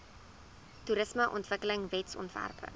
toerismeontwikkelingwetsontwerpe